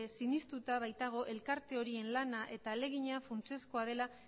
sinestuta baitago elkarte horien lana eta ahalegina funtsezkoa dela